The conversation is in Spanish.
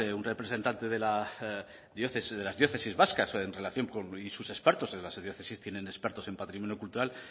un representante de diócesis vascas en relación con y sus expertos en las diócesis tienen expertos en patrimonio cultural